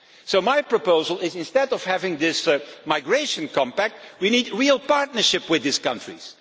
So my proposal is that, instead of having this migration compact, we need a real partnership with these countries.